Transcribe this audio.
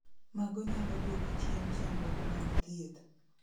Mago nyalo duoko chien chandruok mag thieth